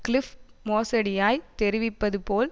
Cliff மோசடியாய் தெரிவிப்பது போல்